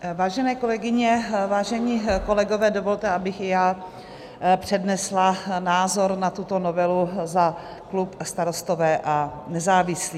Vážené kolegyně, vážení kolegové, dovolte, abych i já přednesla názor na tuto novelu za klub Starostové a nezávislí.